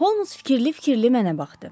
Holms fikirli-fikirli mənə baxdı.